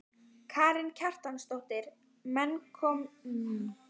Karen Kjartansdóttir: Menn með smekk fyrir stórum konum?